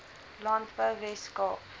landbou wes kaap